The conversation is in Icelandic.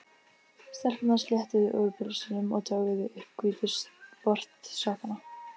Stelpurnar sléttuðu úr pilsunum og toguðu upp hvítu sportsokkana.